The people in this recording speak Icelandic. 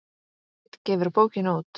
Geit gefur bókina út.